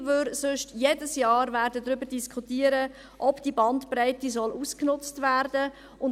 Denn sonst werden wir jedes Jahr darüber diskutieren, ob die Bandbreite ausgenutzt werden soll.